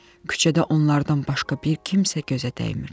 Küçədə onlardan başqa bir kimsə gözə dəymirdi.